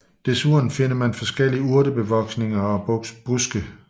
Desuden finder man forskellige urtebevoksninger og buske